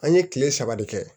An ye kile saba de kɛ